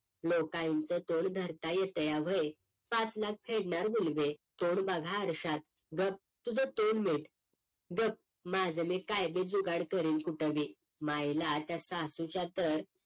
लोकांचं तोंड धरता येतंया व्हय, पाच लाख फेडणार मुलभे. तोंड बघा आरशात. गप्प तुझं तोंड मीट, गप्प माझं मी काय बी जुगाड करीन कुठं बी मायला त्या सासूच्या तर